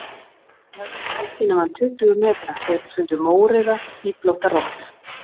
Þeir höfðu ekki gengið nema um tuttugu metra þegar þeir fundu mórauða, hnýflótta rollu